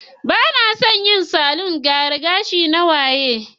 Ba na son yin salon gyara gashi na waya.